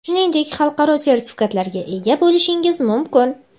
shuningdek xalqaro sertifikatlarga ega bo‘lishingiz mumkin.